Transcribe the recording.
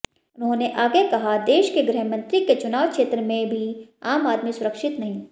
उन्होंने आगे कहा देश के गृहमंत्री के चुनाव क्षेत्र में भी आम आदमी सुरक्षित नहीं